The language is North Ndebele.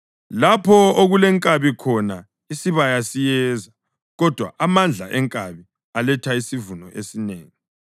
Lapho okungelankabi khona isibaya siyize, kodwa amandla enkabi aletha isivuno esinengi.